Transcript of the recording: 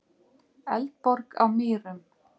Eldborg á Mýrum.